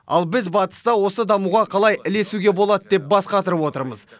ал біз батыста осы дамуға қалай ілесуге болады деп бас қатырып отырмыз